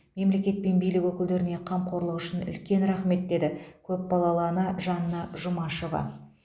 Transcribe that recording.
мемлекет пен билік өкілдеріне қамқорлығы үшін үлкен рахмет деді көпбалалы ана жанна жұмашева